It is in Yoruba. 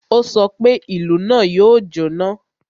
Ó sọ pé, "Ìlú náà yóò jọ́ná!"